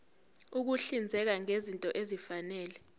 ukuhlinzeka ngezinto ezifanele